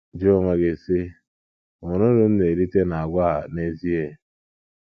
Jụọ onwe gị, sị, ‘ Ọ̀ nwere uru m na - erite n’àgwà a n’ezie?